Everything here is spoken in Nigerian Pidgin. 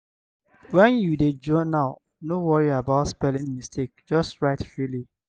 when you dey journal no worry about spelling mistake just write freely